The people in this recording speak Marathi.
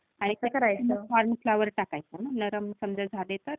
आणि... कसं करायचं मग कॉर्न फ्लोअर टाकायचं ना नरम समजा झाले तर?